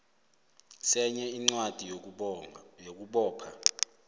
senye incwadi yokubopha